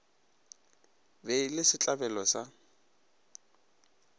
be e le setlabelo sa